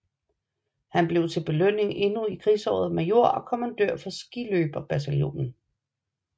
Han blev til belønning endnu i krigsåret major og kommandør for skiløberbataljonen